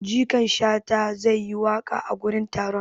Jikan shata zai yi waƙa a gurin taron.